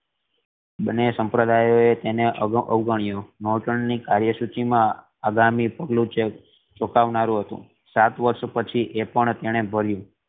બન્ને સંપ્રદાયિયોં એ એણે અવગણ્યું નોર્ટન ની કાર્ય સૂચિ મા અગામી પગલું ચોંકાવનારું હતું સાત વર્ષ પછી એ પણ એને ભર્યું